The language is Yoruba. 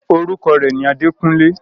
orúkọ rẹ̀ ni “ Adékúnlé”.